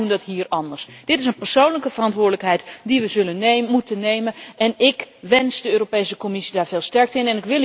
Wij doen dat hier anders! Dit is een persoonlijke verantwoordelijkheid die we moeten nemen en ik wens de Europese Commissie daar veel sterkte mee!